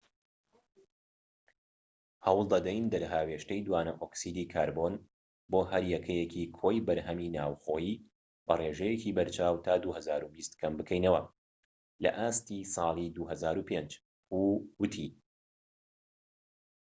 هەوڵ دەدەین دەرهاوێشتەی دوانەئۆکسیدی کاربۆن بۆ هەر یەکەیەکی کۆی بەرهەمی ناوخۆیی بە ڕێژەیەکی بەرچاو تا 2020 کەم بکەینەوە لە ئاستی ساڵی 2005 هو ووتی